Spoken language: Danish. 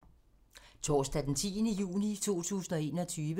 Torsdag d. 10. juni 2021